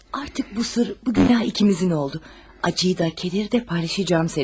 Artıq bu sirr, bu günah ikimizin oldu, ağrını da, kədəri də paylaşacağam səninlə.